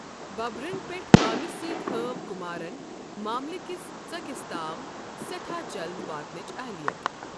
ببرن پیٹھ كامہِ سۭتۍ ہٲو كٗمارن معملہٕ كِس ژكِس تام سیٹھاہ جلد واتنٕچ اہلِیت ۔